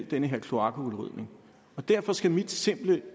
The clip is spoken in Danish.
den her kloakrydning derfor skal min simple